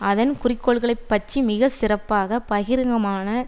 அதன் குறிக்கோள்களைப் பற்றி மிக சிறப்பாக பகிரங்கமாக